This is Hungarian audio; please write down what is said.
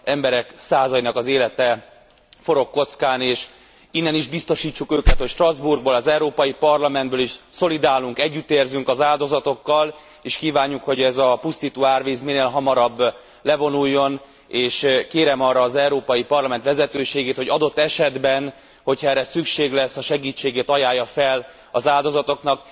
Emberek százainak az élete forog kockán és innen is biztosítsuk őket, hogy Strasbourgból, az Európai Parlamentből is szolidárisak vagyunk, együtt érzünk az áldozatokkal, és kívánjuk, hogy ez a pusztító árvíz minél hamarabb levonuljon, és kérem arra az Európai Parlament vezetőségét, hogy adott esetben, hogyha erre szükség lesz, a segítségét ajánlja fel az áldozatoknak.